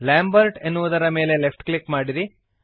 Lambert ಎನ್ನುವುದರ ಮೇಲೆ left click ಮಾಡಿರಿ